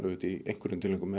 í einhverjum tilvikum